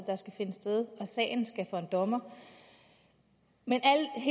sted og at sagen skal for en dommer men